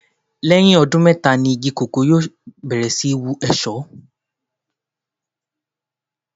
Lẹ́yìn ọdún mẹ́ta igi kòkó yóò bẹ̀rẹ̀ sí ní yóò èso.